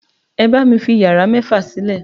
Ẹ bá mi fi yàrá mẹ́fà sílẹ̀!